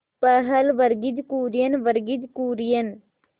पहल वर्गीज कुरियन वर्गीज कुरियन